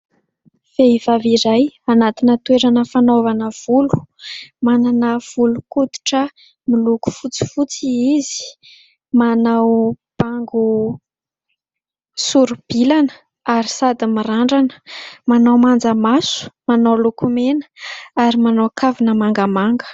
Vehivavy iray anatina toerana fanaovana volo, manana volon-koditra miloko fotsifotsy izy, manao bango soribilana ary sady mirandrana, manao manjamaso, manao lokomena ary manao kavina mangamanga.